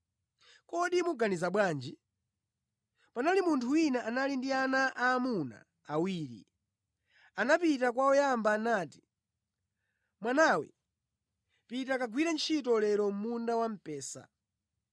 “Kodi muganiza bwanji? Panali munthu wina anali ndi ana aamuna awiri. Anapita kwa woyamba nati, ‘Mwanawe pita kagwire ntchito lero mʼmunda wamphesa.’